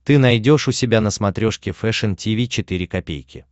ты найдешь у себя на смотрешке фэшн ти ви четыре ка